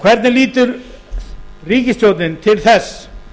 hvernig lítur ríkisstjórnin til þess